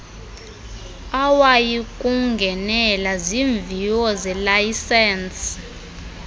awuyikungenela zimviwo zelayisensi